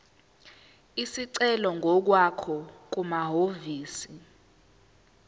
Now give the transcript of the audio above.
isicelo ngokwakho kumahhovisi